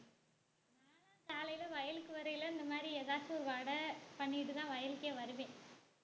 நானும் காலைல வயலுக்கு வரைல இந்த மாதிரி ஏதாச்சும் வடை பண்ணிட்டுதான் வயலுக்கே வருவேன்